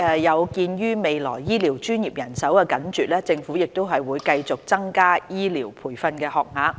有見於未來醫療專業人手緊絀，政府會繼續增加醫療培訓學額。